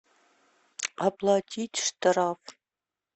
оплатить штраф